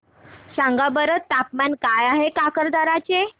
सांगा बरं तापमान काय आहे काकरदरा चे